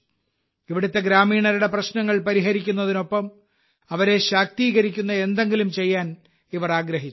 ഇവിടുത്തെ ഗ്രാമീണരുടെ പ്രശ്നങ്ങൾ പരിഹരിക്കുന്നതിനൊപ്പം അവരെ ശാക്തീകരിക്കുന്ന എന്തെങ്കിലും ചെയ്യാൻ ഇവർ ആഗ്രഹിച്ചു